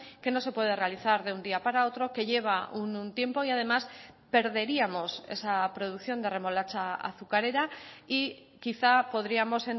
que no se puede realizar de un día para otro que lleva un tiempo y además perderíamos esa producción de remolacha azucarera y quizá podríamos